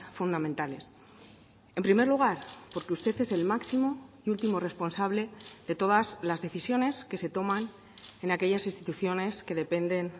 fundamentales en primer lugar porque usted es el máximo y último responsable de todas las decisiones que se toman en aquellas instituciones que dependen